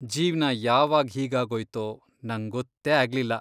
ಜೀವ್ನ ಯಾವಾಗ್ ಹೀಗಾಗೋಯ್ತೋ ನಂಗ್ ಗೊತ್ತೇ ಆಗ್ಲಿಲ್ಲ.